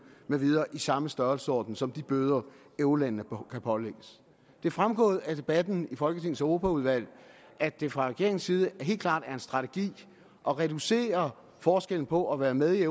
med videre i samme størrelsesorden som de bøder eurolandene kan pålægges det er fremgået af debatten i folketingets europaudvalg at det fra regeringens side helt klart er en strategi at reducere forskellen på at være med i